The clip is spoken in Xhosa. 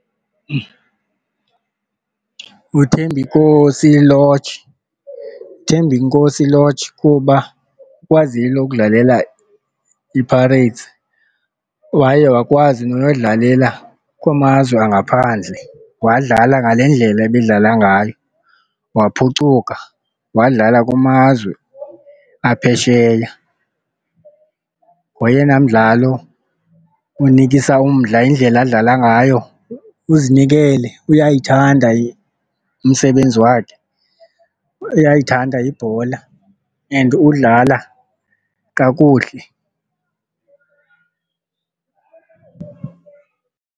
UThembinkosi Lorch, Thembinkosi Lorch kuba ukwazile ukudlalela iPirates, waye wakwazi noyodlalela kumazwe angaphandle, wadlala ngale ndlela ebedlala ngayo, waphucuka, wadlala kumazwe aphesheya. Ngoyena mdlalo unikisa umdla indlela adlala ngayo, uzinikele uyayithanda umsebenzi wakhe uyayithanda ibhola and udlala kakuhle.